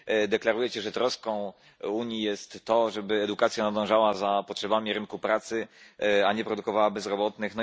Deklarujecie, że troską Unii jest to, żeby edukacja nadążała za potrzebami rynku pracy, a nie produkowała bezrobotnych.